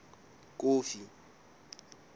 kofi